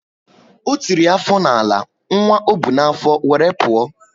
O tiri afọ na ala, nwa ọ bu na afo wéré pụọ